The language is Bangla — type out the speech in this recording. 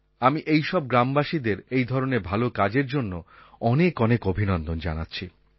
আমি এই সব গ্রামবাসীদের এই ধরণের ভালো কাজের জন্য অনেক অনেক অভিনন্দন জানাচ্ছি